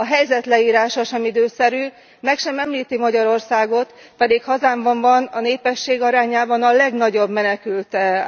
A helyzet leírása sem időszerű, meg sem említi Magyarországot, pedig hazámban van a népesség arányában a legnagyobb menekültáramlat.